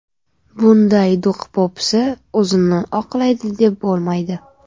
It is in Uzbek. Bunday do‘q-po‘pisa o‘zini oqlaydi deb bo‘lmaydi.